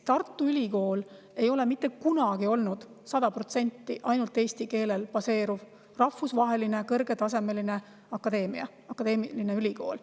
Tartu Ülikool ei ole mitte kunagi olnud sada protsenti ainult eesti keelel baseeruv kõrgetasemeline akadeemiline ülikool.